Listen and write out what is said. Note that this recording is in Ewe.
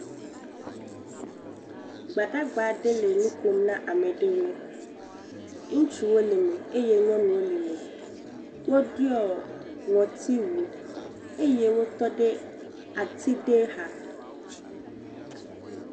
Gbadagba aɖe le nu ƒom na ame aɖewo. Ŋutsuwo le eme eye nyɔnuwo le eme Woɖɔe ŋutsu wu eye wotɔ ɖe ati ɖe xa